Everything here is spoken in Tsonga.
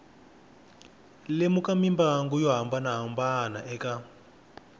lemuka mimbangu yo hambanahambana eka